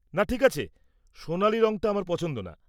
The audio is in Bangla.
না ঠিক আছে, সোনালী রঙটা আমার পছন্দ না।